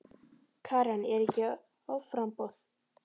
Karen: Er ekki offramboð?